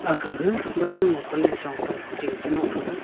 akha ga wangam lung panle chong pe ching che nok thaga.